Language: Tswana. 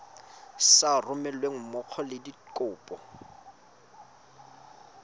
sa romelweng mmogo le dikopo